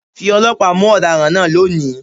Fi ọlọ́pàá mú ọ̀daràn náà lónìí!